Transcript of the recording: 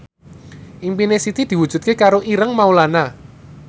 impine Siti diwujudke karo Ireng Maulana